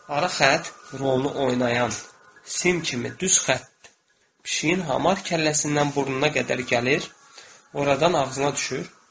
Ara xətt rolu oynayan sim kimi düz xətt pişiyin hamar kəlləsindən burnuna qədər gəlir, oradan ağzına düşür.